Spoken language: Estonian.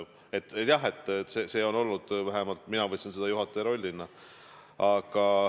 Aga jah, see on olnud juhataja roll, vähemalt mina võtsin seda juhataja rollina.